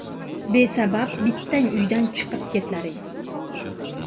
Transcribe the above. Besabab bittang uydan chiqib ketlaring!